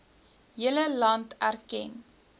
hele land erken